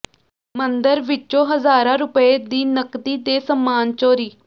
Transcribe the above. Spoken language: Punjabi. ਮੰਦਰ ਵਿੱਚੋਂ ਹਜ਼ਾਰਾਂ ਰੁਪਏ ਦੀ ਨਕਦੀ ਤੇ ਸਾਮਾਨ ਚੋਰੀ